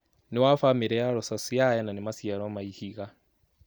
Nĩ wa famĩlĩ ya Rosaceae na nĩ maciaro ma ihiga.